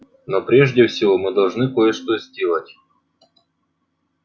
но прежде всего мы должны кое-что сделать